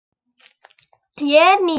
Ég er ný.